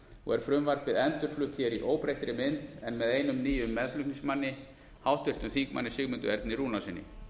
og er frumvarpið endurflutt hér í óbreyttri mynd en með einum nýjum meðflutningsmanni háttvirtur þingmaður sigmundi erni rúnarssyni